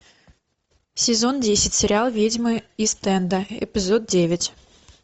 сезон десять сериал ведьмы ист энда эпизод девять